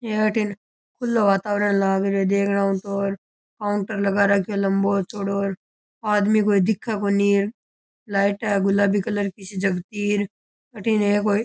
हे अठीन खुलो वातावरण लाग रियो है देखनाऊ तो काउंटर लगा राख्यो है लम्बो चौड़ो आदमी कोई दिखे कोनी लाइट है गुलाबी कलर की सी जगती अठीने एक कोई--